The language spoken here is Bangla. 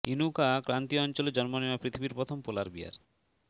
ইনুকা ক্রান্তীয় অঞ্চলে জন্ম নেওয়া পৃথিবীর প্রথম পোলার বিয়ার